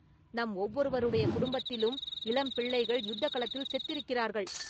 நம் ஒவ்வொருவருடைய குடும்பத்திலும் இளம் பிள்ளைகள் யுத்தகளத்தில் செத்திருக்கிறார்கள்.